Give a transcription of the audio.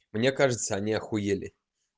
мне кажется они ахуели